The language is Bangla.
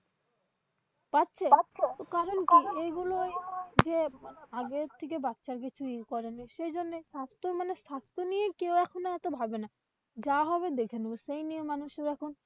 পাচ্ছে কারণ কি এগুলোই যে, আগের থেকে বাচ্চার বেশি এই করেনি সে জন্যই স্বাস্থ্য মানে স্বাস্থ্য নিয়ে কেউ একটুও ভাবে না। যা হবে দেখে নেবে। সেই নিয়ে মানুষের এখন,